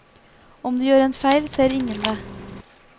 Om du gjør en feil, ser ingen det.